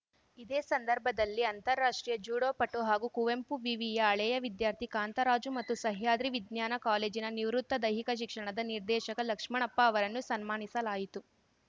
ಇದೇ ಸಂದರ್ಭದಲ್ಲಿ ಅಂತಾರಾಷ್ಟ್ರೀಯ ಜ್ಯೂಡೋ ಪಟು ಹಾಗೂ ಕುವೆಂಪು ವಿವಿಯ ಹಳೆಯ ವಿದ್ಯಾರ್ಥಿ ಕಾಂತರಾಜು ಮತ್ತು ಸಹ್ಯಾದ್ರಿ ವಿಜ್ಞಾನ ಕಾಲೇಜಿನ ನಿವೃತ್ತ ದೈಹಿಕ ಶಿಕ್ಷಣದ ನಿರ್ದೇಶಕ ಲಕ್ಷ್ಮಣಪ್ಪ ಅವರನ್ನು ಸನ್ಮಾನಿಸಲಾಯಿತು